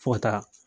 Fo ka taa